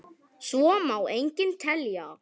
Svo má lengi telja.